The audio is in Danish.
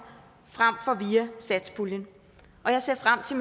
frem for via satspuljen og jeg ser frem til